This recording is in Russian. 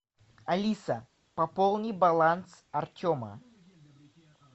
алиса пополни баланс артема